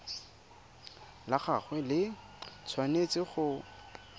la gagwe le tshwanetse go